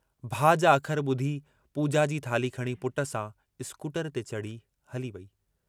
भाउ जा अखर ॿुधी पूॼा जी थाल्ही खणी पुट सां स्कूटर जे चढ़ी हली वेई।